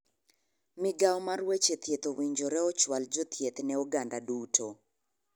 Migao mar weche thieth owinjore ochual jothieth ne oganda duto.